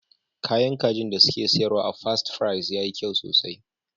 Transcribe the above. Kayan kajin da suke siyarwa a Fast Fries yayi kyau sosai.